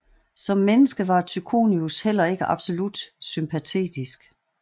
Som menneske var Tychonius heller ikke absolut sympatetisk